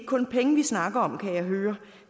kun penge vi snakker om kan jeg høre